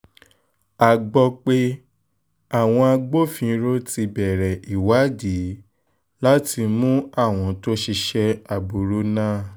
a gbọ́ pé àwọn agbófinró ti bẹ̀rẹ̀ ìwádìí láti mú àwọn tó ṣiṣẹ́ burúkú náà